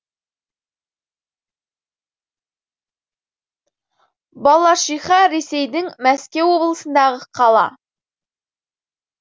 балашиха ресейдің мәскеу облысындағы қала